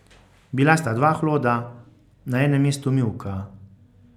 Bila sta dva hloda, na enem mestu mivka.